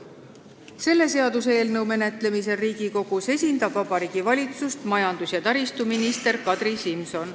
Selle seaduseelnõu menetlemisel Riigikogus esindab Vabariigi Valitsust majandus- ja taristuminister Kadri Simson.